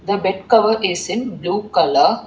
the bed cover is in blue colour.